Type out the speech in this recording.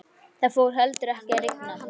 Það fór heldur ekki að rigna.